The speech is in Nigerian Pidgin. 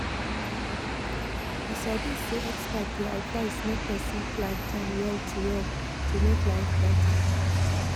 you sabi say experts dey advise make person plan time well to well to make life better.